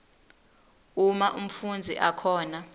uma umfundzi akhona